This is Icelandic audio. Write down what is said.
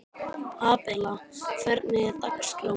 Abela, hvernig er dagskráin?